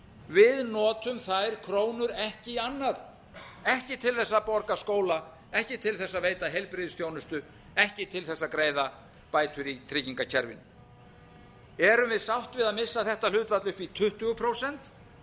við notum þær krónur ekki í annað ekki til þess að borga skóla ekki til þess að veita heilbrigðisþjónustu ekki til þess að greiða bætur í tryggingakerfin erum við sátt við að eiga þetta hlutfall upp í tuttugu prósent